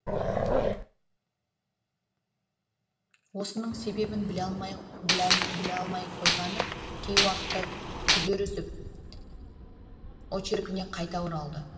осының себебін біле алмай ақ қойғаны кей уақытта күдер үзіп очеркіне қайта оралады